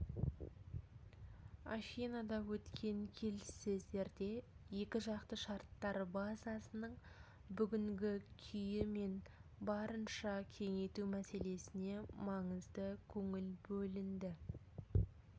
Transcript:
афинада өткен келіссөздерде екіжақты шарттар базасының бүгінгі күйі мен оны барынша кеңейту мәселесіне маңызды көңіл бөлінді